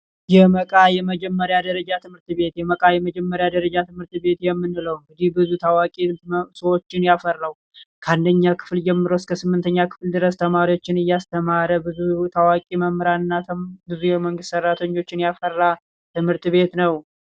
የመቃ የመጀመሪያ ደረጃ ትምህርት ቤት የመቃ የመጀመሪያ ደረጃ ትምህርት ቤት የምንለው እጅግ ብዙ ታዋቂ ሰዎችን ያፈራው ከአንደኛ ክፍል ጀምሮ እስከ ስምንተኛ ክፍል ድረስ ተማሪዎችን እያስተማረ ብዙ ታዋቂ መምህራን እና ብዙ የመንግስት ሰራተኞችን ያፈራ ትምህርት ቤት ነው።